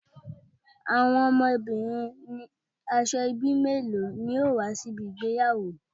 Awon omobirin Asoebi melo ni yoo wa si ibi igbeyawo